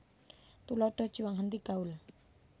Tuladha juang henti gaul